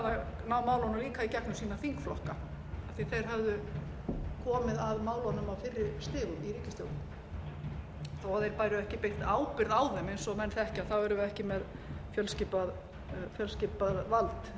líka í gegnum sína þingflokka af því að þeir höfðu komið að málunum á fyrri stigum í ríkisstjórn þó að þeir bæru ekki beint ábyrgð á þeim eins og menn þekkja erum við ekki með fjölskipað vald innan ríkisstjórnarinnar